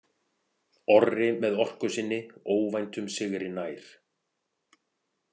Orri með orku sinni óvæntum sigri nær.